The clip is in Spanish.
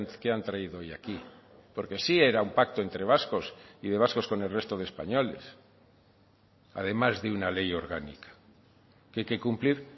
que han traído hoy aquí porque sí era un pacto entre vascos y de vascos con el resto de españoles además de una ley orgánica que hay que cumplir